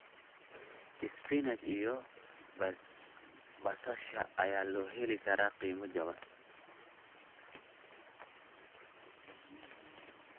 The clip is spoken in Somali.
Spinach iyo basasha ayaa lagu heli karaa qiimo wanaagsan.